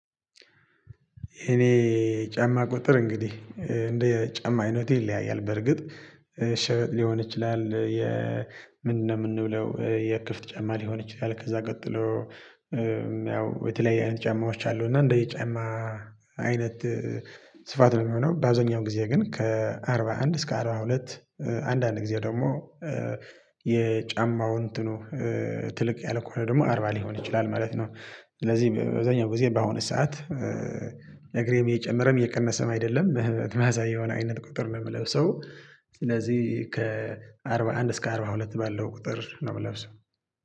እኔ ጫማ ቁጥር እንግዲህ እንደ ጫማ አይነቱ ይለያያል በርግጥ ሽበጥ ይችላል። ምንድነው የምንብለው የክፍት ጫማ ሊሆን ይችላል? ከዛ ቀጥሎ። የተለያዩ አይነት ጫማዎች አሉ። እና እንደ የ ጫማ አይነት ስፋት ነው የሚሆነው። በአዛኛው ጊዜ ግን ከአርባ አንድ እስከ አርባ ሁለት። አንዳንድ ጊዜ ደግሞ የጫማውን እንትኑ ትልቅ ያለ ከሆነ ደግሞ አርባ ሊሆን ይችላል ማለት ነው። ስለዚህ በዛኛው ጊዜ በአሁኑ ሰዓት። ነግሬም እየጨመረም እየቀነሰም አይደለም መህበት ማሳየውን የሆነ አይነት ቁጥር ነው የምለው። ስለዚህ ከአርባ አንድ እስከ አርባ ሁለት ባለው ቁጥር ነው የምለብሰው